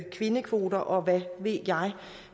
kvindekvoter og hvad ved jeg